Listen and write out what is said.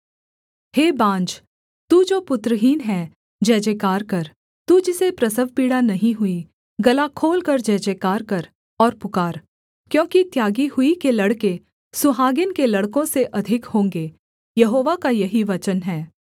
हे बाँझ तू जो पुत्रहीन है जयजयकार कर तू जिसे प्रसवपीड़ा नहीं हुई गला खोलकर जयजयकार कर और पुकार क्योंकि त्यागी हुई के लड़के सुहागिन के लड़कों से अधिक होंगे यहोवा का यही वचन है